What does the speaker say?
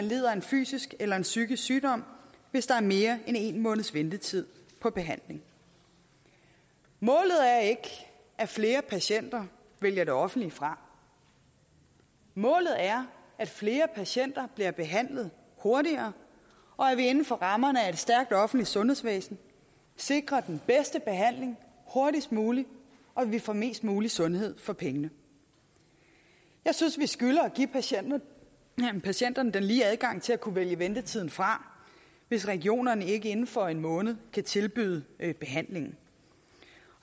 lider af en fysisk eller en psykisk sygdom hvis der er mere end en måneds ventetid på behandling målet er ikke at flere patienter vælger det offentlige fra målet er at flere patienter bliver behandlet hurtigere og at vi inden for rammerne af et stærkt offentligt sundhedsvæsen sikrer den bedste behandling hurtigst muligt og at vi får mest mulig sundhed for pengene jeg synes vi skylder at give patienterne patienterne den lige adgang til at kunne vælge ventetiden fra hvis regionerne ikke inden for en måned kan tilbyde behandling